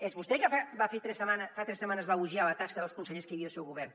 és vostè que fa tres setmanes va elogiar la tasca dels consellers que hi havia al seu govern